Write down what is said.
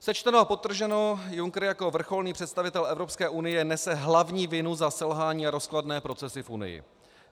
Sečteno a podtrženo, Juncker jako vrcholný představitel Evropské unie nese hlavní vinu za selhání a rozkladné procesy v Unii.